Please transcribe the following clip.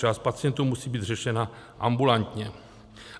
Část pacientů musí být řešena ambulantně.